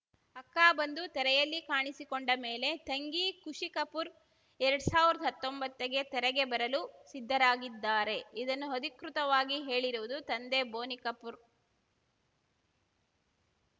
ಅಕ್ಕ ಬಂದು ತೆರೆಯಲ್ಲಿ ಕಾಣಿಸಿಕೊಂಡ ಮೇಲೆ ತಂಗಿ ಖುಷಿ ಕಪೂರ್ ಎರಡ್ ಸಾವ್ರ್ದ ಹತ್ತೊಂಬತ್ತಗೆ ತೆರೆಗೆ ಬರಲು ಸಿದ್ಧರಾಗಿದ್ದಾರೆ ಇದನ್ನು ಅಧಿಕೃತವಾಗಿ ಹೇಳಿರುವುದು ತಂದೆ ಬೋನಿ ಕಪೂರ್